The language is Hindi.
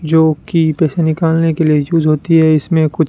जो कि पैसे निकालने के लिए यूज होती है इसमें कुछ--